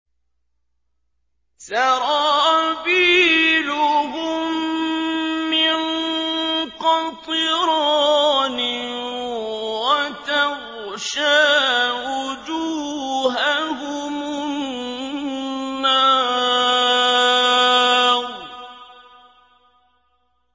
سَرَابِيلُهُم مِّن قَطِرَانٍ وَتَغْشَىٰ وُجُوهَهُمُ النَّارُ